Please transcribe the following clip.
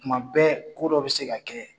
Tuma bɛɛ ko dɔ bɛ se ka kɛ